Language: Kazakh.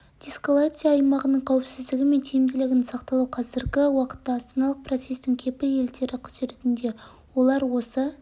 деэскалация аймағының қауіпсіздігі мен тиімділігінің сақталуы қазіргі уақытта астаналық процестің кепіл елдері құзыретінде олар осы